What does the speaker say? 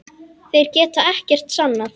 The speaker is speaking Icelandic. Þeir geta ekkert sannað.